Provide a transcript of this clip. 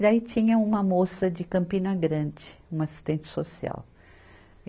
E daí tinha uma moça de Campina Grande, uma assistente social.